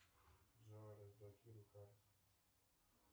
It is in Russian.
джой разблокируй карту